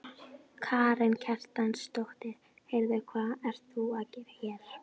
Karen Kjartansdóttir: Heyrðu hvað ert þú að gera hér?